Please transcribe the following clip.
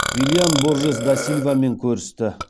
виллиан боржес да силвамен көрісті